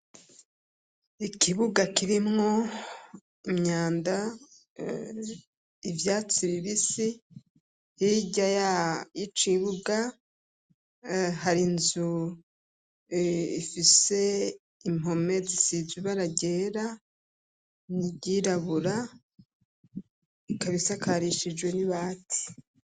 Ikibuga kirimwo imyanda ivyatsi bibisi, hirya y'icibuga hari nzu ifise impome zisizwe ibara ryera nibyirabura ikabisakarishijwe n'ibati.